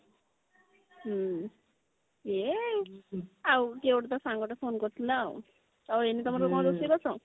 ହଁ ଏଇ ତୋର ତ ସାଙ୍ଗ ଟେ phone କରିଥିଲା ଆଉ ଏଇନେ ତମର କଣ ରୋଷେଇ ବାସ